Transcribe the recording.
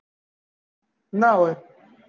ના હોય